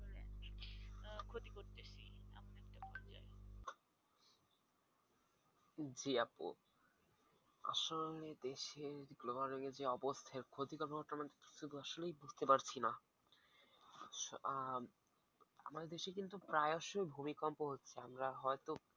জি আপু আসলে দেশের global warming এর যে অবস্থা এর ক্ষতি তো automatic বুঝতে পারছিনা। উহ আমাদের দেশে কিন্তু প্রায়সই ভূমিকম্প হচ্ছে আমরা হয়তো